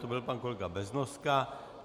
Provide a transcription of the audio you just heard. To byl pan kolega Beznoska.